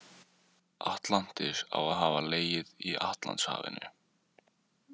Atlantis á að hafa legið í Atlantshafinu.